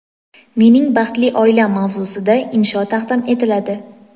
"Mening baxtli oilam"-mavzusida insho taqdim etiladi.